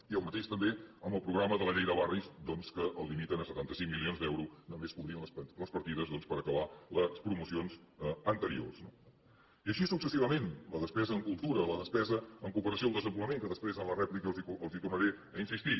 i el mateix també amb el programa de la llei de barris doncs que el limiten a setanta cinc milions d’euros només cobrint les partides per acabar les promocions anteriors no i així successivament la despesa en cultura la despesa en cooperació al desenvolupament que després en la rèplica els hi tornaré a insistir